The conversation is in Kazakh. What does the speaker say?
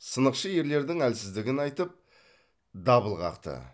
сынықшы ерлердің әлсіздігін айтып дабыл қақты